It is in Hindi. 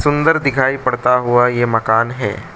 सुंदर दिखाई पड़ता हुआ ये मकान है।